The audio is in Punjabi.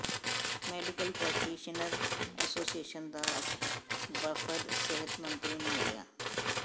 ਮੈਡੀਕਲ ਪ੍ਰੈਕਟੀਸ਼ਨਰ ਐਸੋਸੀਏਸ਼ਨ ਦਾ ਵਫ਼ਦ ਸਿਹਤ ਮੰਤਰੀ ਨੰੂ ਮਿਲਿਆ